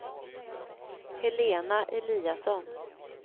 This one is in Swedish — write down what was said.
Helena Eliasson